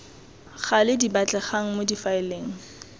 gale di batlegang mo difaeleng